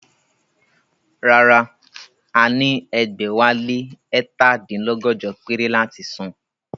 Rárá, a ní ẹgbẹ̀wálé ẹ̀ta dín lọ́gọ́jọ péré láti san